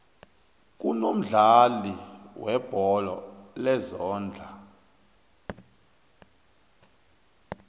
kunomdlalo webholo lezondla